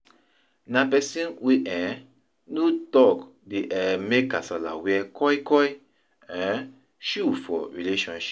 Na pesin wey um no tok dey um mek kasala wear koikoi um shoe for relationship